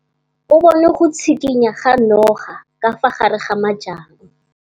O bone go tshikinya ga noga ka fa gare ga majang.